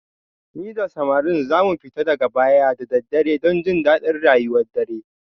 Ni da samarin za mu fita daga baya da daddare don jin daɗin rayuwar dare